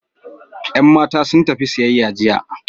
Yan matan sun tafi siyayya jiya.